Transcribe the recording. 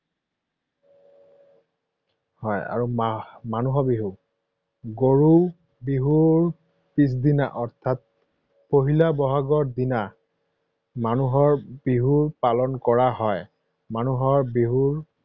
হয় আৰু মানুহৰ বিহু, গৰু বিহুৰ পিছদিনা অৰ্থাৎ পহিলা বহাগৰ দিনা মানুহৰ বিহু পালন কৰা হয়। মানুহৰ বিহুৰ